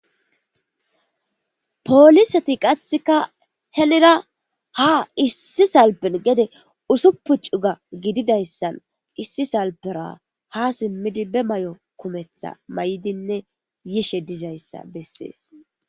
Poolisati qasseka henira ha issi salpen gede usuppu cuga gididayssan issi salpera ha simmidi be may7o kumetha may7idinne yiishe dizayssa bessees.